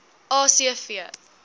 a c v